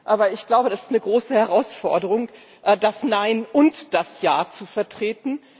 Aber ich glaube, das ist eine große Herausforderung, das Nein und das Ja zu vertreten.